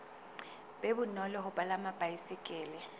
be bonolo ho palama baesekele